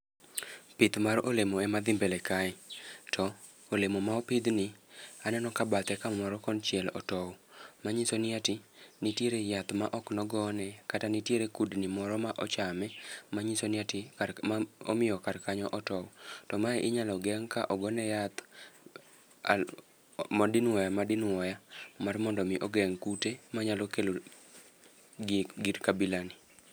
Pith mar olemo ema dhi mbele kae, to olemo ma opidh ni aneno ka bathe kamoro konchiel otow. Manyiso ni ati nitiere yath ma ok nogone, kata nitiere kudni moro ma ochame, manyiso ni ati kar ma momiyokar kanyo otow. To mae inyalo geng' ka ogone yath al modinwoya madinwoya mar mondo mi ogeng' kute manyalo kelo gik gir abila ni.